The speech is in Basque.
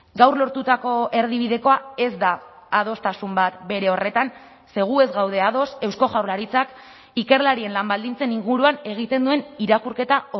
gaur lortutako erdibidekoa ez da adostasun bat bere horretan ze gu ez gaude ados eusko jaurlaritzak ikerlarien lan baldintzen inguruan egiten duen irakurketa